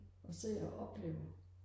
og se og opleve